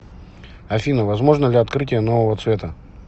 афина возможно ли открытие нового цвета